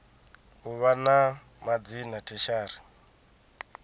u vha na madzina tertiary